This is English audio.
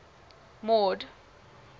mord